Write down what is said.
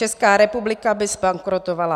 Česká republika by zbankrotovala.